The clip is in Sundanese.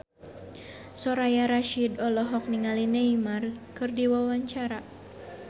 Soraya Rasyid olohok ningali Neymar keur diwawancara